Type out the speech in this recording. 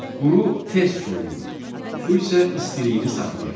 Quru tez soyuyur, su isə istiliyini saxlayır.